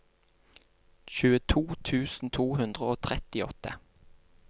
tjueto tusen to hundre og trettiåtte